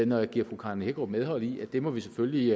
når jeg giver fru karen hækkerup medhold i at det må vi selvfølgelig